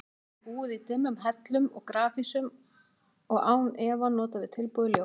Hann hefði búið í dimmum hellum og grafhýsum og án efa notast við tilbúið ljós.